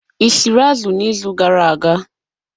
Ị siri azụ n'izu gara aga?